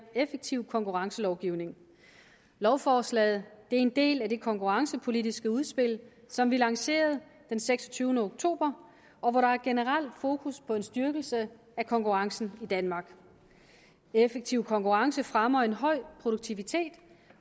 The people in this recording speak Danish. effektiv konkurrencelovgivning lovforslaget er en del af det konkurrencepolitiske udspil som vi lancerede den seksogtyvende oktober og hvor der er et generelt fokus på en styrkelse af konkurrencen i danmark en effektiv konkurrence fremmer en høj produktivitet